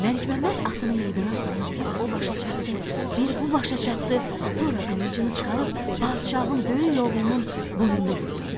Məlikməmməd atını meydana salıb bir o başa çapdı, bir bu başa çapdı, sonra qılıncını çıxarıb padşahın böyük oğlunun boynunu vurdu.